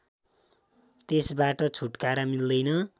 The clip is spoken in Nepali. त्यसबाट छुट्कारा मिल्दैन